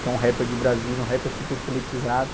que é um rapper de Brasília, um rapper super politizado.